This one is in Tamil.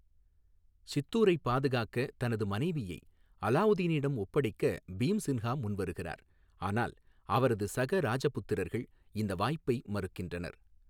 சித்தூரைப் பாதுகாக்க தனது மனைவியை அலாவுதீனிடம் ஒப்படைக்க பீம்சின்ஹா முன்வருகிறார், ஆனால் அவரது சக ராஜபுத்திரர்கள் இந்த வாய்ப்பை மறுக்கின்றனர்.